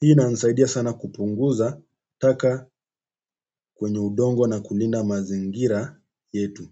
Hii inanisaidia sana kupunguza taka kwenye udongo na kulinda mazingira yetu.